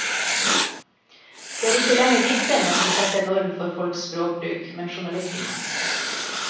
Det er ikke lenger dikterne som setter norm for folks språkbruk, men journalistene.